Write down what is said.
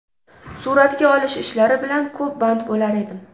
Suratga olish ishlari bilan ko‘p band bo‘lar edim.